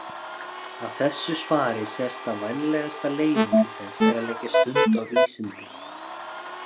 Af þessu svari sést að vænlegasta leiðin til þess er að leggja stund á vísindi.